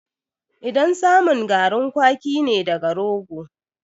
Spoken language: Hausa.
Idan samun garin kwaki ne daga rogo